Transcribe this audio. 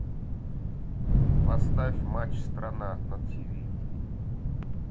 поставь матч страна на тв